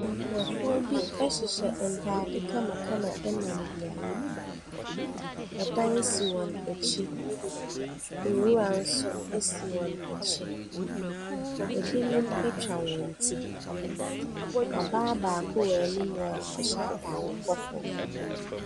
Nkurɔfoɔ bi hyehyɛ ntadeɛ kamakama nam beaeɛ bi. Dan si wɔn akyi. Nwira nso si wɔn akyi. Ɛbinom atwa wɔn ti na baa baako wɔ anim a ɔhyɛ atade kɔkɔɔ.